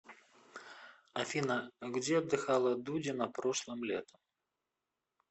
афина где отдыхала дудина прошлым летом